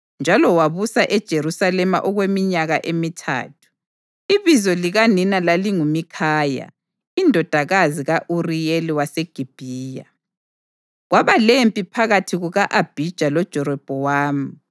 njalo wabusa eJerusalema okweminyaka emithathu. Ibizo likanina lalinguMikhaya, indodakazi ka-Uriyeli waseGibhiya. Kwaba lempi phakathi kuka-Abhija loJerobhowamu.